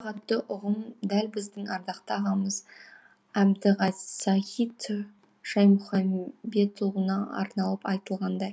ұлағатты ұғым дәл біздің ардақты ағамыз әбдісағит шаймұханбетұлына арналып айтылғандай